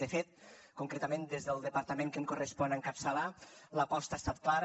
de fet concretament des del departament que em correspon encapçalar l’aposta ha estat clara